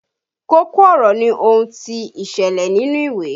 Kókó ọ̀rọ̀ ni ohun tí ó ìṣẹ̀lẹ̀ nínú ìwé